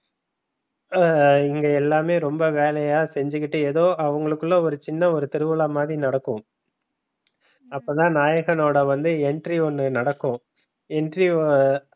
ஹம் இங்க எல்லாமே ரொம்ப வேலையா செஞ்சு கிட்டு ஏதோ அவங்களுக்குள்ள ஒரு சின்ன ஒரு திருவிழா மாதிரி நடக்கும். அப்பதான் நாயகனோட வந்து entry ஒன்னு நடக்கும்